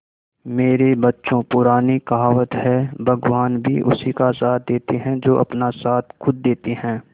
मेरे बच्चों पुरानी कहावत है भगवान भी उसी का साथ देते है जो अपना साथ खुद देते है